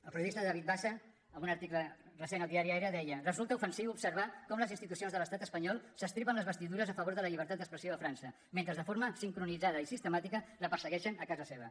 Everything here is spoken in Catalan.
el periodista david bassa en un article recent al diari araservar com les institucions de l’estat espanyol s’estripen les vestidures a favor de la llibertat d’expressió a frança mentre de forma sincronitzada i sistemàtica la persegueixen a casa seva